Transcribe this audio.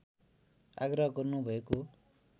आग्रह गर्नु भएको